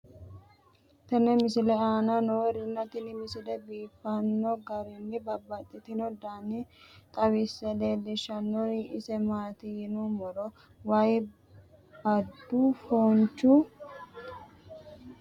tenne misile aana noorina tini misile biiffanno garinni babaxxinno daniinni xawisse leelishanori isi maati yinummoro way boodu foonchu kubbanni noohu leelanno yaatte